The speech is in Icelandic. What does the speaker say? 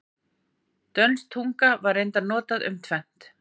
Dönsk tunga var reyndar notað um tvennt.